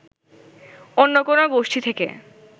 অন্য কোনো গোষ্ঠী থেকে